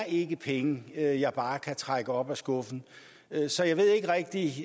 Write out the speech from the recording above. ikke er penge jeg jeg bare kan trække op af skuffen så jeg ved ikke rigtig